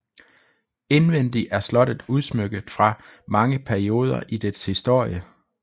Indvendig er slottet udsmykket fra mange perioder i dets historie